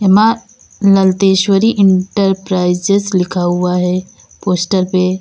माँ ललतेश्वरी एंटरप्राइजेज लिखा हुआ है पोस्टर पे।